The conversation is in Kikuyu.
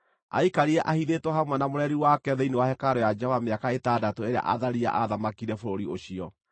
Aikarire ahithĩtwo hamwe na mũreri wake thĩinĩ wa hekarũ ya Jehova mĩaka ĩtandatũ ĩrĩa Athalia aathamakire bũrũri ũcio.